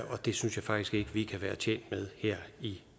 det synes jeg faktisk ikke at vi kan være tjent med her i